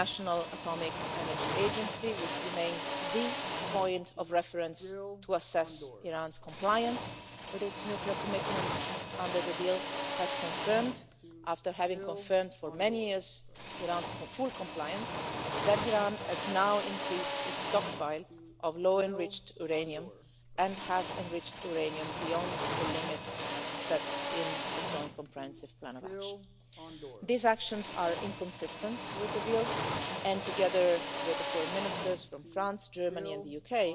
The International Atomic Energy Agency, which remains the point of reference to assess Iran's compliance with its nuclear commitments under the deal, has confirmed, after having confirmed for many years Iran's full compliance, that Iran has now increased its stockpile of low enriched uranium and has enriched uranium beyond the limits set in the Joint Comprehensive Plan of Action. These actions are inconsistent with the deal, and together with the Foreign Ministers from France, Germany and the